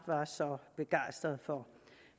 så begejstrede for